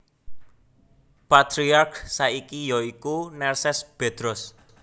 Patriark saiki ya iku Nerses Bedros